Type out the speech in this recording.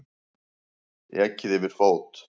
Ekið yfir fót